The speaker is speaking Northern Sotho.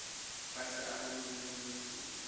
be se amana le bolwetši